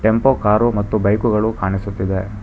ಕೆಂಪು ಕಾರು ಮತ್ತು ಬೈಕುಗಳು ಕಾಣಿಸುತ್ತಿದೆ.